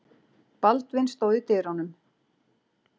Baldvin stóð í dyrunum.